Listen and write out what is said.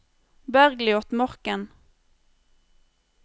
Bergliot Morken